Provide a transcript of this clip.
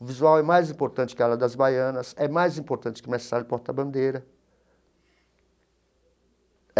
O visual é mais importante que a ala das baianas, é mais importante que o mestre sala de porta Bandeira.